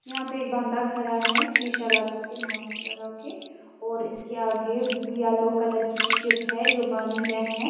.یحیٰ پی ایک بندہ خدا ہیں شیشہ لگاکے ماسک لگاکے اور اسکے آگے یلو کلر کی شپ ہیں جو پانی مے ہیں